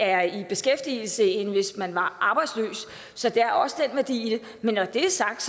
er i beskæftigelse end hvis man var arbejdsløs så der er også den værdi i det men når det er sagt